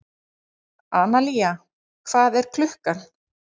Analía, hvað er klukkan?